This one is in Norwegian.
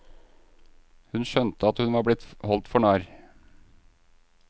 Hun skjønte at hun var blitt holdt for narr.